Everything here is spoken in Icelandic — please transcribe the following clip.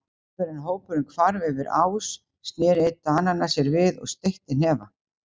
Áður en hópurinn hvarf yfir ás sneri einn Dananna sér við og steytti hnefa.